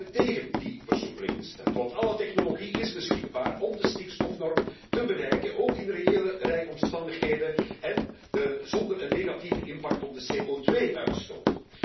We hebben tegen die versoepeling gestemd, want alle technologie is beschikbaar om de stikstofnorm in acht te nemen, ook in reële rijomstandigheden en zonder een negatieve impact op de CO2 uitstoot.